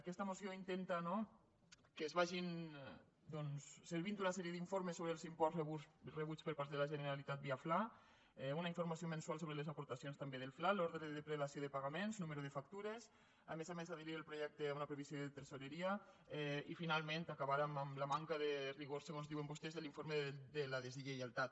aquesta moció intenta no que es vagin servint una sèrie d’informes sobre els imports rebuts per part de la generalitat via fla una informació mensual sobre les aportacions també del fla l’ordre de prelació de pagaments nombre de factures a més a més adherir al projecte una previsió de tresoreria i finalment acabar amb la manca de rigor segons diuen vostès de l’informe de la deslleialtat